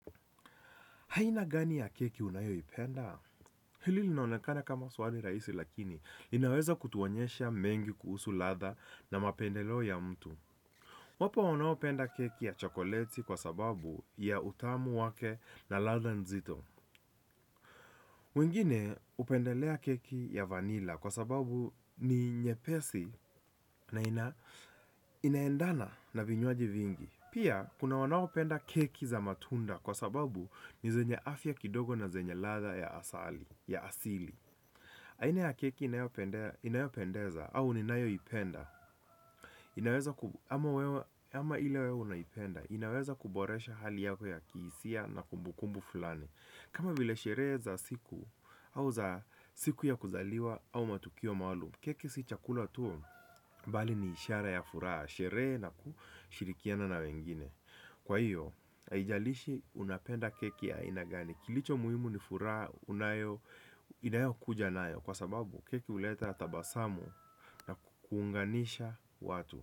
Aina gani ya keki unayoipenda? Hili linaonekana kama swali rahisi lakini linaweza kutuonyesha mengi kuhusu ladha na mapendelo ya mtu. Wapo wanaopenda keki ya chokoleti kwa sababu ya utamu wake na ladha nzito wengine hupendelea keki ya vanilla kwa sababu ni nyepesi na inaendana na vinywaji vingi. Pia, kuna wanaopenda keki za matunda kwa sababu ni zenye afya kidogo na zenye ladha ya asili. Aina ya keki inayopendeza au ninayoipenda. Inaweza kuboresha hali yako ya kihisia na kumbukumbu fulani. Kama vile ya shereza siku au za siku ya kuzaliwa au matukio maalum, keki si chakula tu bali ni ishara ya furaha. Sherehe na kushirikiana na wengine. Kwa hivyo, haijalishi unapenda keki ya aina gani. Kilicho muhimu ni furaha, inayokuja nayo. Kwa sababu, keki huleta tabasamu na kuunganisha watu.